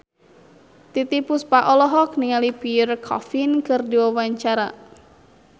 Titiek Puspa olohok ningali Pierre Coffin keur diwawancara